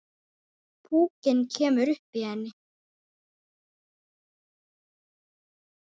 Púkinn kemur upp í henni.